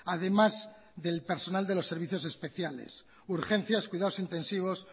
además del personal de los servicios especiales urgencias cuidados intensivos